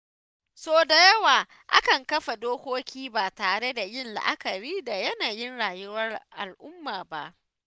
Sau da yawa akan kafa dokoki ba tare da yin la’akari da yanayin rayuwar al’umma ba.